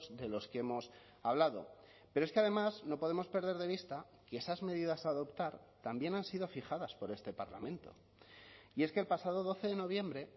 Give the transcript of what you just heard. de los que hemos hablado pero es que además no podemos perder de vista que esas medidas a adoptar también han sido fijadas por este parlamento y es que el pasado doce de noviembre